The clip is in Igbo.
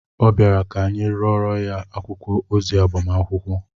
Ọ bịara ka anyị rụorọ ya akwụkwọ ozi agbamakwụkwọ